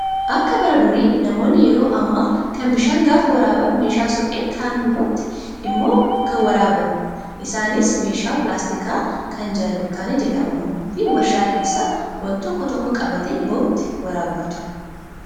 Akka bara durii namoonni yeroo amma kana bishaan gaafa waraaban meeshaa suphee kan hubbootti miti kan waraaban. Isaanis meeshaa pilaastikaa kan jaarkaanii jedhamuu fi warshaa keessaa wantoota tokko tokko qabatee bahutti waraabbatu.